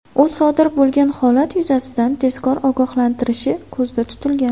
U sodir bo‘lgan holat yuzasidan tezkor ogohlantirishi ko‘zda tutilgan.